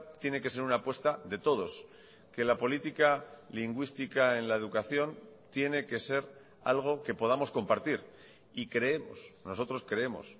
tiene que ser una apuesta de todos que la política lingüística en la educación tiene que ser algo que podamos compartir y creemos nosotros creemos